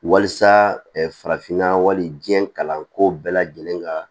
Walisa farafinna wali diɲɛ kalanko bɛɛ lajɛlen ka